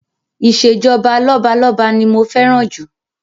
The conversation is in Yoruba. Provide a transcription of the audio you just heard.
Ìṣèjọba lọ́balọ́ba ni mo fẹ́ràn jù